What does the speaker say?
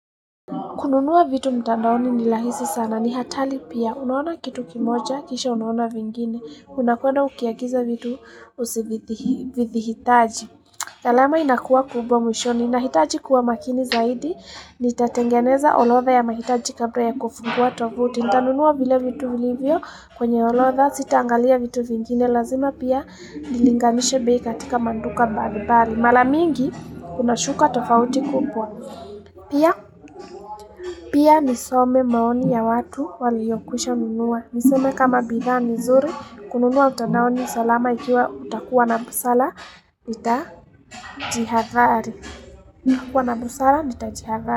Kununu a vitu mtandaoni ni rahisi sana ni hatari pia unaona kitu kimoja kisha unaona vingine Unakuwana ukiagiza vitu usivithihitaji gharama inakuwa kubwa mwishoni nahitaji kuwa makini zaidi Nitatengeneza orotha ya mahitaji kabla ya kufungua tovuti Nitanunuwa vile vitu vilivyo kwenye orotha sitangalia vitu vingine Lazima pia nilinganishe bei katika maduka mbali mbali Mara mingi kuna shuka tofauti kubwa Pia, pia nisome maoni ya watu waliyokwisha nunua. Niseme kama bidhaa ni nzuri, kununua mitandaoni salama ikiwa utakuwa na busara, nitajihadhari. Kuwa na busara, nitajihadhari.